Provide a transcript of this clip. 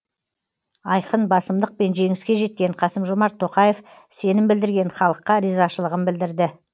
айқын басымдықпен жеңіске жеткен қасым жомарт тоқаев сенім білдірген халыққа ризашылығын білдірді